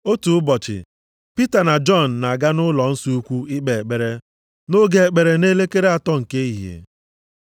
Otu ụbọchị Pita na Jọn na-aga nʼụlọnsọ ukwu ikpe ekpere nʼoge ekpere nʼelekere atọ nke ehihie.